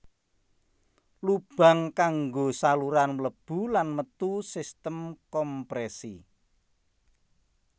Lubang kanggo saluran mlebu lan metu sistem komprèsi